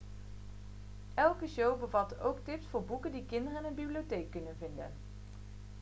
elke show bevatte ook tips voor boeken die kinderen in hun bibliotheek konden vinden